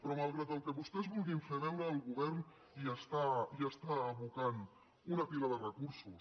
però malgrat el que vostès vulguin fer veure el go·vern hi està abocant una pila de recursos